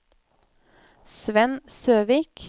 Svend Søvik